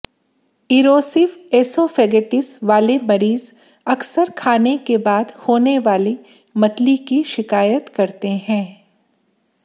erosive oesophagitis वाले मरीज़ अक्सर खाने के बाद होने वाली मतली की शिकायत करते हैं